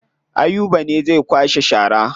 Ayuba ne zai kwashe shara.